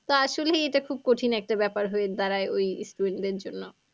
তো আসলেই এটা খুব কঠিন একটা ব্যাপার হয়ে দাঁড়ায় ওই student দের জন্য।